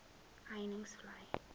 heuningvlei